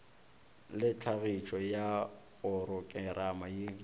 le tlhagišo ya porokerama ye